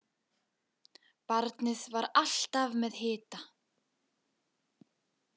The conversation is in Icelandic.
Barnið var alltaf með hita.